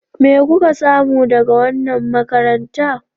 Me kuka samu daga wannan makaranta?